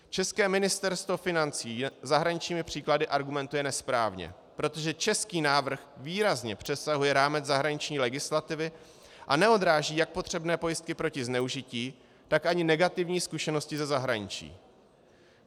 České Ministerstvo financí zahraničními příklady argumentuje nesprávně, protože český návrh výrazně přesahuje rámec zahraniční legislativy a neodráží jak potřebné pojistky proti zneužití, tak ani negativní zkušenosti ze zahraničí.